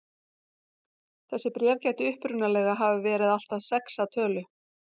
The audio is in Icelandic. Þessi bréf gætu upprunalega hafa verið allt að sex að tölu.